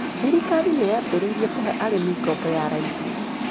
Thirikari nĩyambĩrĩirie kũhe arĩmi ngombo ya raithi.